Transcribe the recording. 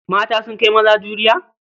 Mata sun kai maza juriya?